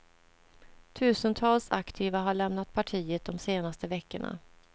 Tusentals aktiva har lämnat partiet de senaste veckorna.